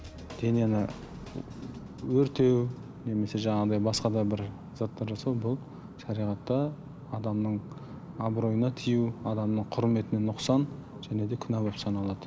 денені өртеу немесе жаңағыдай басқа да бір заттар жасау бұл шариғатта адамның абыройына тию адамның құрметіне нұқсан және де күнә болып саналады